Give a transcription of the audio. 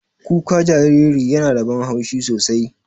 Kuka jariri yana da ban haushi sosai.